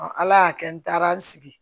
ala y'a kɛ n taara n sigi